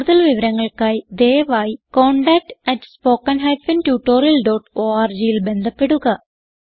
കുടുതൽ വിവരങ്ങൾക്കായി ദയവായി contactspoken tutorialorgൽ ബന്ധപ്പെടുക